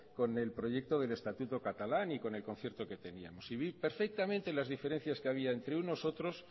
con el proyecto del estatuto catalán y con el concierto que teníamos y vi perfectamente las diferencias que había entre unos otros